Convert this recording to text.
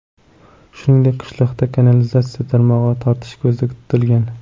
Shuningdek, qishloqda kanalizatsiya tarmog‘i tortish ko‘zda tutilgan.